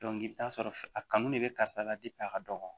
i bɛ taa sɔrɔ a kanu de bɛ karisa la de a ka dɔgɔn